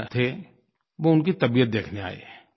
भी रहे थे वो उनकी तबीयत देखने आए